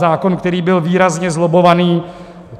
Zákon, který byl výrazně zlobbovaný.